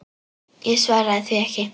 Ég svaraði því ekki.